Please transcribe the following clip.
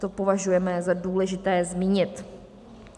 To považujeme za důležité zmínit.